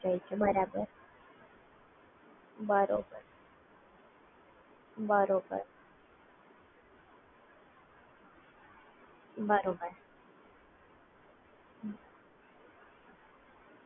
બરોબર